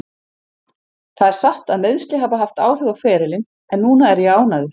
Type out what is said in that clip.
Það er satt að meiðsli hafa haft áhrif á ferilinn en núna er ég ánægður.